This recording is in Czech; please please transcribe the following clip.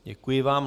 Děkuji vám.